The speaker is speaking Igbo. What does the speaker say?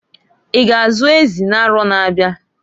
I ga azu ezi n'aro na-abiaǃ